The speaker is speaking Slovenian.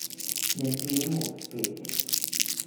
Ne sme mu uspeti.